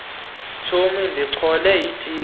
tshomi ndichole itiki